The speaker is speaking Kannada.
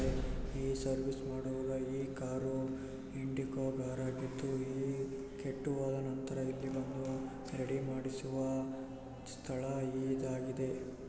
ಈ ಸರ್ವಿಸ್ ಮಾಡುವುದಾಗಿ ಕಾರು ಇಂಡಿಗೋ ಕಾರಾಗಿದ್ದುಈ ಕೆಟ್ಟು ಹೋದ ನಂತರ ಇಲ್ಲಿ ಬಂದು ರೆಡಿ ಮಾಡಿಸುವ ಸ್ಥಳವು ಇದಾಗಿದೆ.